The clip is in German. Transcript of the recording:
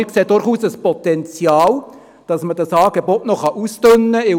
Wir sehen durchaus ein Potenzial, dieses Angebot noch auszudünnen.